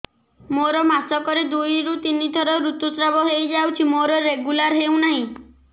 ମୋର ମାସ କ ରେ ଦୁଇ ରୁ ତିନି ଥର ଋତୁଶ୍ରାବ ହେଇଯାଉଛି ମୋର ରେଗୁଲାର ହେଉନାହିଁ